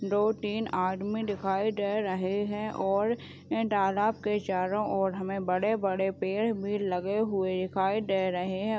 दो टीन आदमी दिखाई दे रहें हैं और ऐें तालाब के चारों ओर हमें बड़े-बड़े पेड़ भी लगे हुए दिखाई दे रहे हैं।